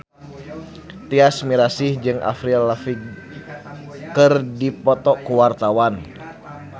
Tyas Mirasih jeung Avril Lavigne keur dipoto ku wartawan